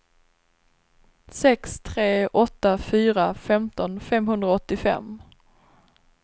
sex tre åtta fyra femton femhundraåttiofem